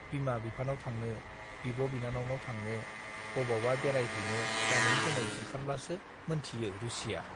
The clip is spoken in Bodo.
बिमा-बिफानाव थांनो, बिब' बिनानावनाव थांनो, बबावबा बेरायहैनो गानै-जौमै ओंखारब्लासो मोनथियो रुसिया।